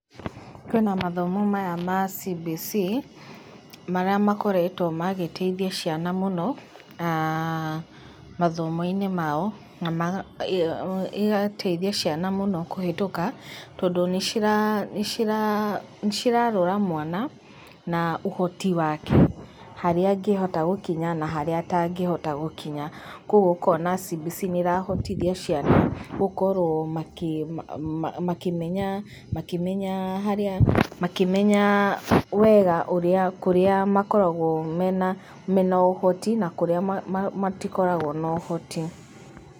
Kwĩ na mathomo maya ma CBC, marĩa makoretwo magĩteithia ciana mũno, aah mathomo-inĩ mao, na ĩgateithia ciana mũno kũhĩtũka, tondũ nĩ cirarora mwana, na ũhoti wake, harĩa angĩhota gũkinya na harĩa atangĩhota gũkinya. Koguo ũkona CBC nĩ ĩrahotithia ciana gũkorwo makĩmenya, makĩmenya harĩa, makĩmenya wega ũrĩa kũrĩa makoragwo mena ũhoti, na kũrĩa matikoragwo na ũhoti.